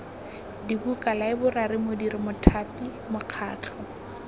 dibuka laeborari modiri mothapi mokgatlho